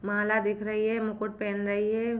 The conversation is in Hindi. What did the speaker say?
माला दिख रही है मुकुट पहन रही है।